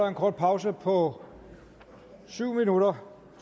en kort pause på syv minutter